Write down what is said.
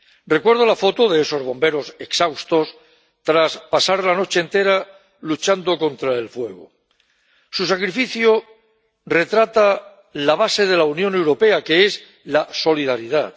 Recuerdo la foto de esos bomberos exhaustos tras pasar la noche entera luchando contra el fuego su sacrificio retrata la base de la Unión Europea, que es la solidaridad.